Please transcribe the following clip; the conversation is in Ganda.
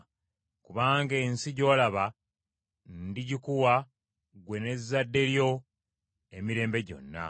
kubanga ensi gy’olaba ndigikuwa ggwe n’ezzadde lyo emirembe gyonna.